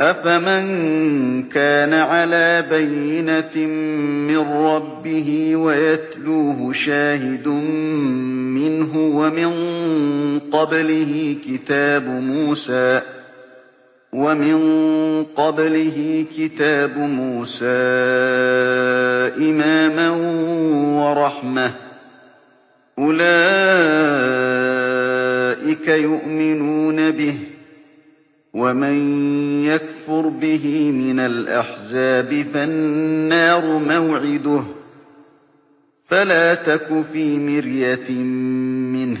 أَفَمَن كَانَ عَلَىٰ بَيِّنَةٍ مِّن رَّبِّهِ وَيَتْلُوهُ شَاهِدٌ مِّنْهُ وَمِن قَبْلِهِ كِتَابُ مُوسَىٰ إِمَامًا وَرَحْمَةً ۚ أُولَٰئِكَ يُؤْمِنُونَ بِهِ ۚ وَمَن يَكْفُرْ بِهِ مِنَ الْأَحْزَابِ فَالنَّارُ مَوْعِدُهُ ۚ فَلَا تَكُ فِي مِرْيَةٍ مِّنْهُ ۚ